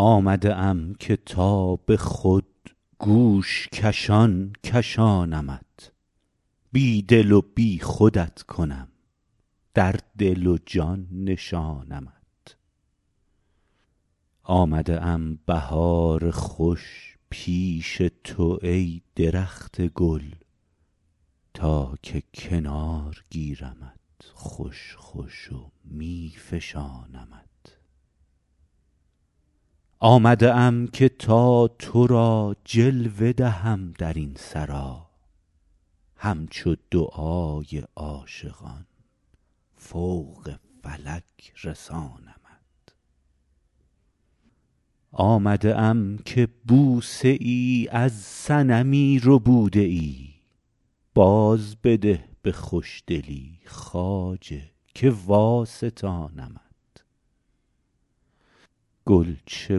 آمده ام که تا به خود گوش کشان کشانمت بی دل و بی خودت کنم در دل و جان نشانمت آمده ام بهار خوش پیش تو ای درخت گل تا که کنار گیرمت خوش خوش و می فشانمت آمده ام که تا تو را جلوه دهم در این سرا همچو دعای عاشقان فوق فلک رسانمت آمده ام که بوسه ای از صنمی ربوده ای بازبده به خوشدلی خواجه که واستانمت گل چه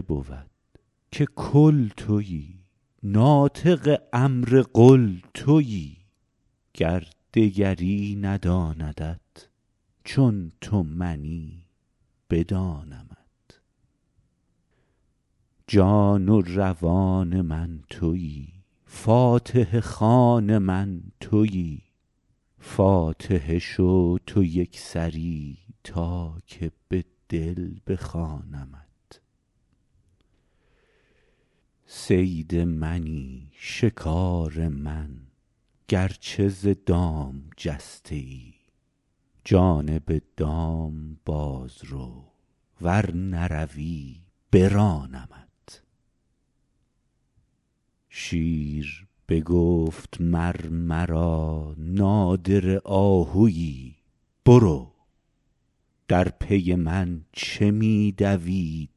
بود که کل تویی ناطق امر قل تویی گر دگری نداندت چون تو منی بدانمت جان و روان من تویی فاتحه خوان من تویی فاتحه شو تو یک سری تا که به دل بخوانمت صید منی شکار من گرچه ز دام جسته ای جانب دام باز رو ور نروی برانمت شیر بگفت مر مرا نادره آهوی برو در پی من چه می دوی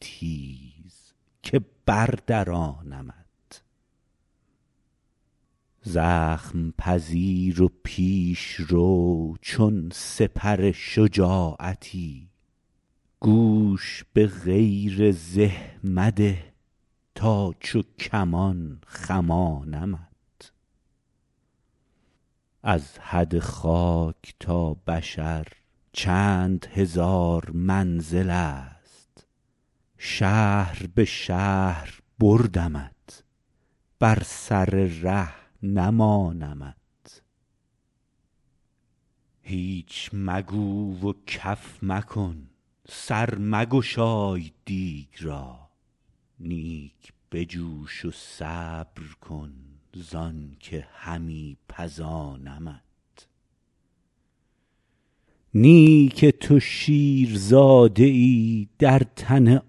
تیز که بردرانمت زخم پذیر و پیش رو چون سپر شجاعتی گوش به غیر زه مده تا چو کمان خمانمت از حد خاک تا بشر چند هزار منزلست شهر به شهر بردمت بر سر ره نمانمت هیچ مگو و کف مکن سر مگشای دیگ را نیک بجوش و صبر کن زانک همی پزانمت نی که تو شیرزاده ای در تن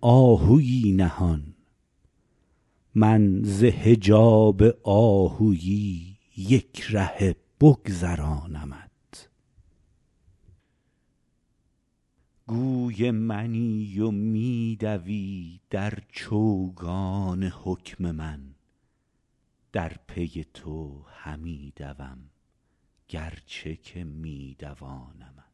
آهوی نهان من ز حجاب آهوی یک رهه بگذرانمت گوی منی و می دوی در چوگان حکم من در پی تو همی دوم گرچه که می دوانمت